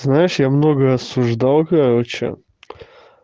знаешь я много осуждал короче